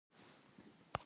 Hvað gerið þið?